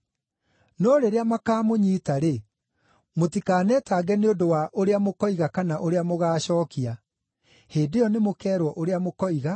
No rĩrĩa makaamũnyiita-rĩ, mũtikanetange nĩ ũndũ wa ũrĩa mũkoiga kana ũrĩa mũgaacookia. Hĩndĩ ĩyo nĩmũkeerwo ũrĩa mũkoiga,